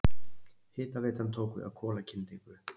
Hitaveitan tók við af kolakyndingu.